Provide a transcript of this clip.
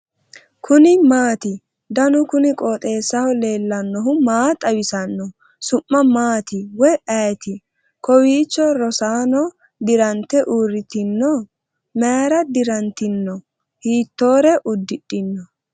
kuni maati ? danu kuni qooxeessaho leellannohu maa xawisanno su'mu maati woy ayeti ? kowiicho rossanno dirante uurritino ? mayra dirantino hiittore uddidhino